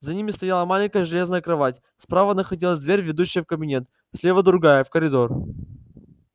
за ними стояла маленькая железная кровать справа находилась дверь ведущая в кабинет слева другая в коридор